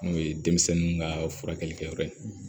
N'o ye denmisɛnninw ka furakɛlikɛyɔrɔ ye